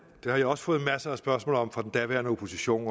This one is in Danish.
at jeg også har fået masser af spørgsmål om det fra den daværende opposition